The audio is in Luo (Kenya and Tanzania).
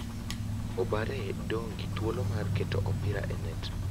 obare dong gi thuolo mar keto opira e net .